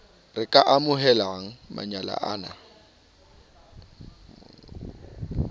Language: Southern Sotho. re ka amohelang manyala a